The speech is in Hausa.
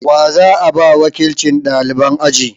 Wa za a ba wakilcin ɗaliban aji?